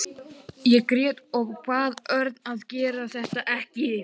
Ég grét og bað Örn að gera þetta ekki.